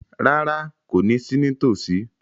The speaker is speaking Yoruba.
Rárá, kò ní sí ní tòsí